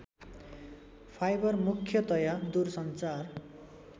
fibre मुख्यतया दूरसञ्चार